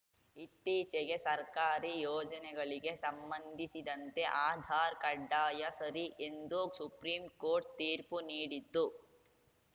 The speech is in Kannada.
ಇತ್ತೀಚೆಗೆ ಸರ್ಕಾರಿ ಯೋಜನೆಗಳಿಗೆ ಸಂಬಂಧಿಸಿದಂತೆ ಆಧಾರ್‌ ಕಡ್ಡಾಯ ಸರಿ ಎಂದು ಸುಪ್ರೀಂ ಕೋರ್ಟ್‌ ತೀರ್ಪು ನೀಡಿತ್ತು